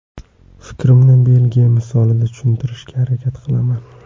Fikrimni Belgiya misolida tushuntirishga harakat qilaman.